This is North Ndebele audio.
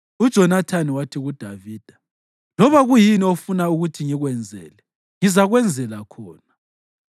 UJonathani wathi kuDavida, “Loba kuyini ofuna ukuthi ngikwenze, ngizakwenzela khona.”